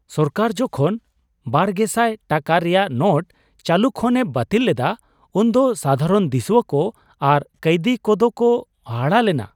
ᱥᱚᱨᱠᱟᱨ ᱡᱚᱠᱷᱚᱱ ᱒᱐᱐᱐ ᱴᱟᱠᱟ ᱨᱮᱭᱟᱜ ᱱᱳᱴ ᱪᱟᱹᱞᱩ ᱠᱷᱚᱱ ᱮ ᱵᱟᱹᱛᱤᱞ ᱞᱮᱫᱟ ᱩᱱᱫᱚ ᱥᱟᱫᱷᱟᱨᱚᱱ ᱫᱤᱥᱩᱣᱟᱹ ᱠᱚ ᱟᱨ ᱠᱟᱹᱭᱫᱤ ᱠᱚ ᱫᱚ ᱠᱚ ᱦᱟᱦᱟᱲᱟ ᱞᱮᱱᱟ ᱾